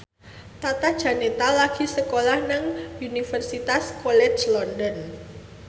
Tata Janeta lagi sekolah nang Universitas College London